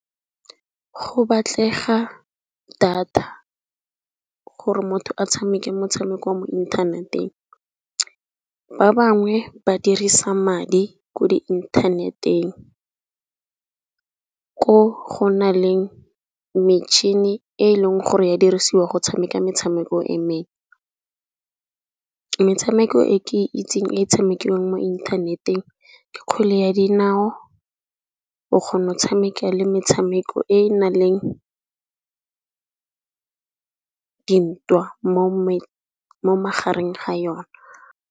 Go batlega data gore motho a tshameke motshameko wa mo inthaneteng. Ba bangwe ba dirisa madi ko di inthaneteng, ko go na le metšhini e e leng gore ya dirisiwa go tshameka metshameko e mengwe. Metshameko e ke itseng e tshamekiwang mo inthaneteng ke kgwele ya dinao, o kgona go tshameka le metshameko e e nang le dintwa mo magareng ga yone.